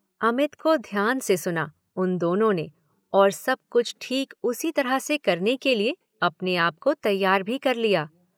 अमित को ध्यान से सुना उन दोनों ने और सब कुछ ठीक उसी तरह से करने के लिए अपने आप को तैयार भी कर लिया।